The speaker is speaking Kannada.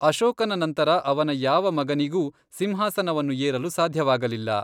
ಅಶೋಕನ ನಂತರ ಅವನ ಯಾವ ಮಗನಿಗೂ ಸಿಂಹಾಸನವನ್ನು ಏರಲು ಸಾಧ್ಯವಾಗಲಿಲ್ಲ.